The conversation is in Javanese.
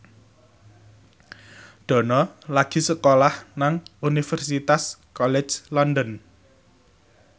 Dono lagi sekolah nang Universitas College London